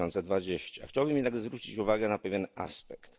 2020. Chciałbym jednak zwrócić uwagę na pewien aspekt.